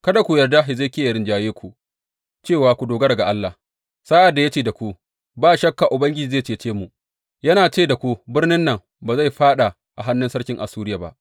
Kada ku yarda Hezekiya yă rinjaye ku cewa ku dogara ga Allah, sa’ad da ya ce da ku, Ba shakka Ubangiji zai cece mu; yana ce da ku birnin nan ba zai faɗa a hannun sarkin Assuriya ba.’